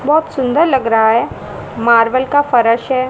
बहोत सुंदर लग रहा है मार्बल का फर्श है।